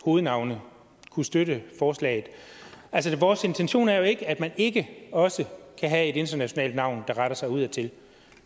hovednavne kunne støtte forslaget vores intention er jo ikke at man ikke også kan have et internationalt navn der retter sig udadtil